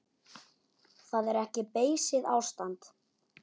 Það er ekki beysið ástand.